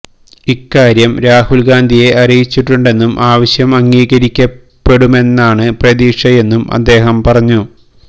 ഇക്കാര്യം രാഹുൽ ഗാന്ധിയെ അറിയിച്ചിട്ടുണ്ടെന്നും ആവശ്യം അംഗീകരിക്കപ്പെടുമെന്നാണ് പ്രതീക്ഷയെന്നും അദ്ദേഹം പറഞ്ഞു